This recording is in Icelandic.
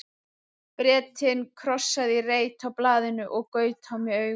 Bretinn krossaði í reit á blaðinu og gaut á mig augum.